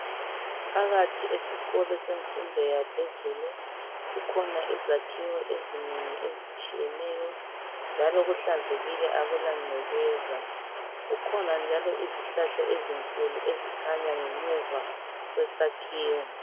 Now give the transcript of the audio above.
Phakathi esikolo semfundo yaphezulu kukhona izakhiwo ezinengi ezitshiyeneyo njalo kuhlanzekile akula ncekeza. Kukhona njalo izihlahla ezinkulu ezikhanya ngemuva kwesakhiwo.